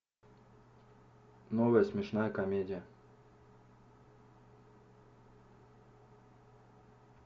новая смешная комедия